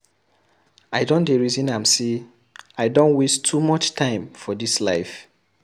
I don dey resin am sey I don waste too much time for dis life.